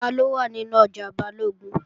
Taló wà nínú ọjà Balógun?